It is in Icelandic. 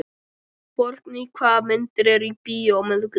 Borgný, hvaða myndir eru í bíó á miðvikudaginn?